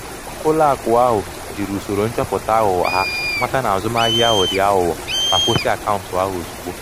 ụlọ akụ ahụ jiri usoro nchọpụta aghụghọ ya mata na azụmahịa ahụ di aghugho ma kwụsị akaụntụ ahụ ozugbo.